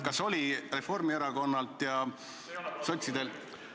Kas oli Reformierakonnalt ja sotsidelt ...